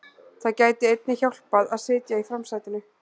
Það gæti einnig hjálpað að sitja í framsætinu.